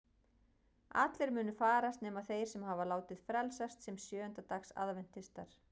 Allir munu farast nema þeir sem hafa látið frelsast sem sjöunda dags aðventistar.